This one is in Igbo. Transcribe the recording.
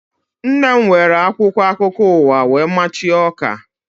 Nne m were akwụkwọ akụkọ ụwa wee machie ọka